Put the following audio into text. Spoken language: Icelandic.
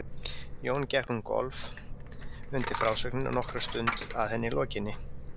Jón gekk um gólf undir frásögninni og nokkra stund að henni lokinni.